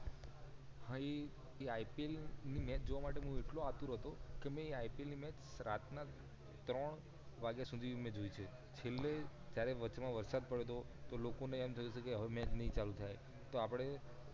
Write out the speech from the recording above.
ભાઈ એ IPL ને મેચ જોવા માટે હું એટલો આતુર હતો કે મેં Ipl મેચ રાતના ત્રણ વાગ્યા સુધી મેં જોઈ છે છેલ્લે જયારે વચમાં વરસાદ પડયો તો લોકો ને એમ થયું કે હવે મેચ નાય ચાલુ થાય તો આપડે